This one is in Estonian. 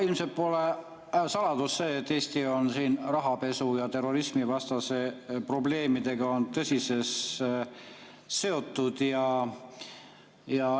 Ilmselt pole saladus see, et Eesti on rahapesu ja terrorismi probleemidega tõsiselt seotud.